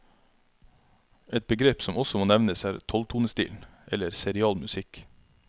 Et begrep som også må nevnes er tolvtonestilen, eller serial musikk.